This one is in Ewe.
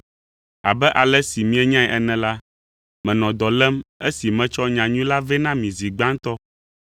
Abe ale si mienyae ene la, menɔ dɔ lém esi metsɔ nyanyui la vɛ na mi zi gbãtɔ.